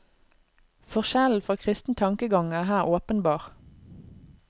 Forskjellen fra kristen tankegang er her åpenbar.